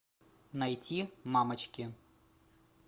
найти мамочки